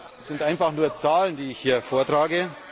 Das sind einfach nur Zahlen, die ich hier vortrage.